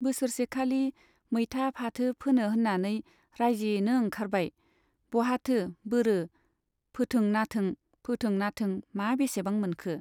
बोसोरसेखालि मैथा फाथो फोनो होन्नानै राइजोयैनो ओंखारबाय, बहाथो बोरो फोथों नाथों , फोथों नाथों मा बेसेबां मोनखो ?